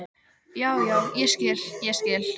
Já, já, ég skil, ég skil.